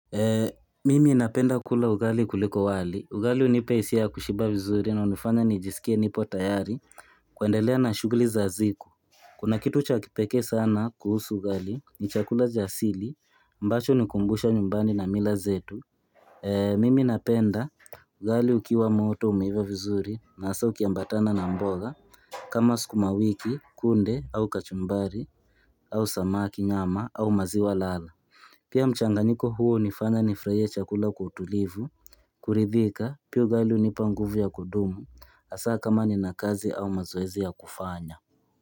Mimi napenda kula ugali kuliko wali, ugali unipa isia ya kushiba vizuri na unifanya nijiskie nipo tayari kuendelea na shughli za ziku Kuna kitu cha kipekee sana kuhusu ugali ni chakula asili ambacho hunikumbusha nyumbani na mila zetu Mimi napenda ugali ukiwa moto umeiva vizuri na asa ukiambatana na mboga kama skuma wiki kunde au kachumbari au samaki nyama au maziwa lala Pia mchanganyiko huu unifanya nifraie chakula kwa utulivu kuridhika pia ugali unipa nguvu ya kudumu Asaa kama nina kazi au mazoezi ya kufanya.